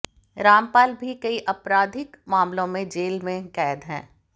रामपाल भी कई आपराधिक मामलों में जेल में कैद है